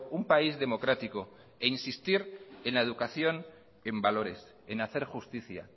un país democrático e insistir en la educación en valores en hacer justicia